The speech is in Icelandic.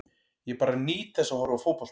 Ég bara nýt þess að horfa á fótbolta.